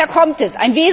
Woher kommt es?